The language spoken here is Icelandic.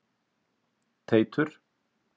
Teitur